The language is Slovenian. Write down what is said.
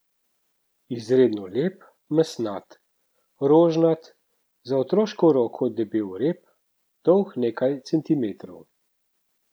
Izredno lep, mesnat, rožnat, za otroško roko debel rep, dolg nekaj decimetrov.